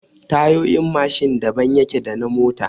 Tayoyin Mashin daban yake da na mota